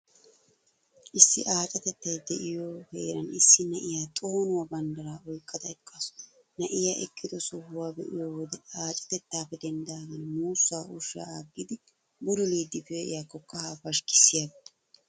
Issi aacatettay de'iyoo heeran issi na'iyaa xoonuwaa banddiraa oyqqada eqqaasu. Na'iyaa eqqido sohuwa be'iyo wode, aacatettaappe denddidaagan muussaa ushshaa aggidi bululiiddi pe'iyaakko kahaa pashkkissiyaaba.